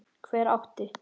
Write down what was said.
Hver átti?